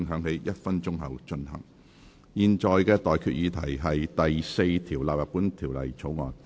我現在向各位提出的待決議題是：第4條納入本條例草案。